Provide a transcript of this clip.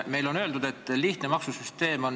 Meile on öeldud, et meil on lihtne maksusüsteem.